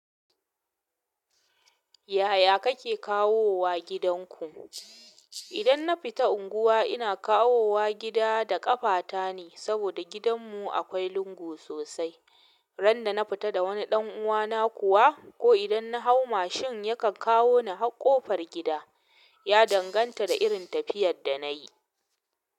Yaya kake kawowa gidanku? Idan na fita unguwa ina kawowa gida da ƙafata ne saboda gidanmu akwai lungu sosai. Randa na fita da wani ɗan uwana kuwa ko idan na hau mashin yakan kawo ni har ƙofar gida. Ya danganta da irin tafiyar da na yi.